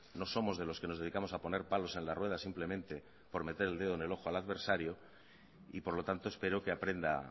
no somos de los que nos dedicamos a poner palos en las ruedas simplemente por meter el dedo en el ojo al adversario y por lo tanto espero que aprenda